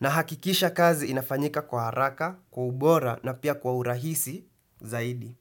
nahakikisha kazi inafanyika kwa haraka, kwa ubora na pia kwa urahisi Zaidi.